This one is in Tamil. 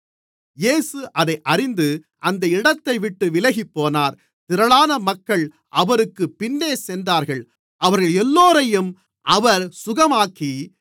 இயேசு அதை அறிந்து அந்த இடத்தைவிட்டு விலகிப்போனார் திரளான மக்கள் அவருக்குப் பின்னே சென்றார்கள் அவர்களெல்லோரையும் அவர் சுகமாக்கி